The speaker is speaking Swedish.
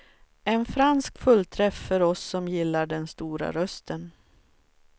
En fransk fullträff för oss som gillar den stora rösten.